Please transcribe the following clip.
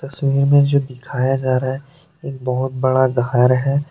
छवि में जो दिखाया जा रहा है एक बहोत बड़ा घर है।